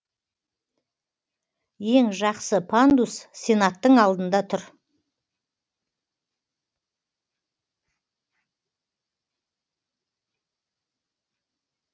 ең жақсы пандус сенаттың алдында тұр